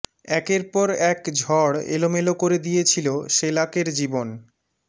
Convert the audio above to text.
একের পর এক ঝড় এলোমেলো করে দিয়েছিল সেলাকের জীবন